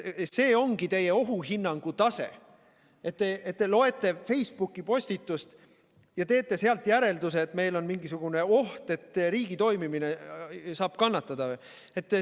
Kas see ongi teie ohuhinnangu tase, et te loete Facebooki postitust ja teete sealt järelduse, et meil on mingisugune oht, et riigi toimimine saab kannatada?